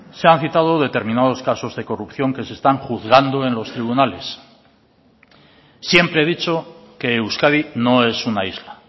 se han citado determinados casos de corrupción que se están juzgando en los tribunales siempre he dicho que euskadi no es una isla